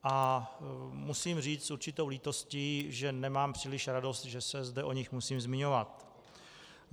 A musím říct s určitou lítostí, že nemám příliš radost, že se zde o nich musím zmiňovat.